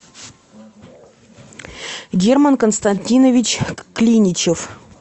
герман константинович клиничев